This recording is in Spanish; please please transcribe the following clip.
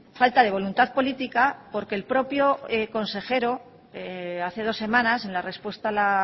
falta de voluntad política porque el propio consejero hace dos semanas en la respuesta a la